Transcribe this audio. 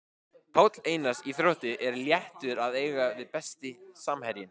Palli Einars í Þrótti er léttur að eiga við Besti samherjinn?